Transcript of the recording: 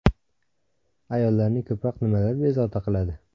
Ayollarni ko‘proq nimalar bezovta qiladi ?